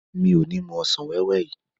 Mi ò ní mú ọsàn wẹ́wẹ́ yìí.